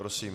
Prosím.